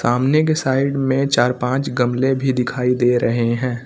सामने के साइड में चार पांच गमले भी दिखाई दे रहे हैं।